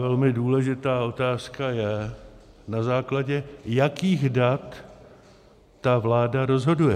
Velmi důležitá otázka je, na základě jakých dat ta vláda rozhoduje.